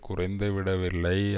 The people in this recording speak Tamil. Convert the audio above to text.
குறைந்து விடவில்லை